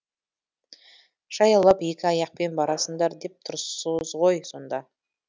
жаяулап екі аяқпен барасыңдар деп тұрсыз ғой сонда